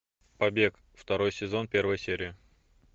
побег второй сезон первая серия